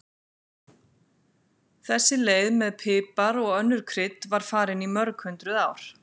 Þessi leið með pipar og önnur krydd var farin í mörg hundruð ár.